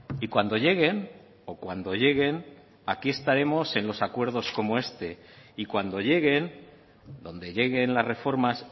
y cuando lleguen o cuando lleguen aquí estaremos en los acuerdos como este y cuando lleguen donde lleguen las reformas